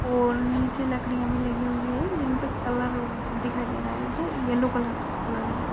और नीचे लकड़िया भी लगी हुई है। जिनपे कलर दिखाई दे रहा है जो येल्लो कलर क है।